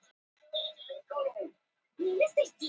Sönglaði Sveinn sálma úr